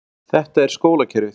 Þetta er skólakerfið.